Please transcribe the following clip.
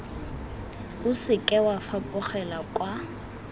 o seke wa fapogela kwa